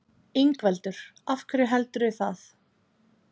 Ingveldur: Af hverju heldurðu það?